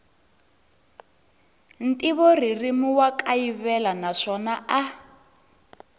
ntivoririmi wa kayivela naswona a